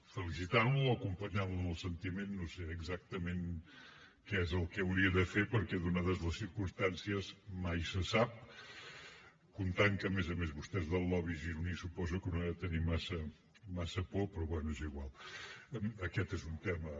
felicitant lo o acompanyant lo en el sentiment no sé exactament què és el que hauria de fer perquè donades les circumstàncies mai se sap comptant que a més a més vostè és del lobby gironí i suposo que no ha de tenir massa por però bé és igual aquest és un tema